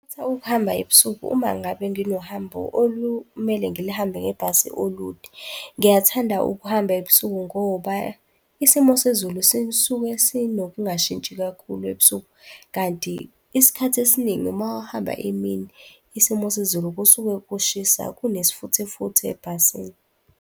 Ngingakhetha ukuhamba ebusuku, uma ngabe nginohambo olumele ngilihambe ngebhasi olude. Ngiyathanda ukuhamba ebusuku ngoba isimo sezulu sisuke sinokungashintshi kakhulu ebusuku. Kanti isikhathi esiningi uma uhamba emini, isimo sezulu kusuke kushisa kunesifuthefuthe ebhasini.